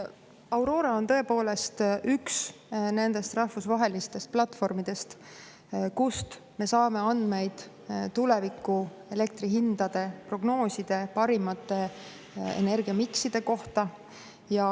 Aurora on tõepoolest üks nendest rahvusvahelistest platvormidest, kust me saame andmeid tuleviku elektrihindade prognooside, parimate energiamikside kohta.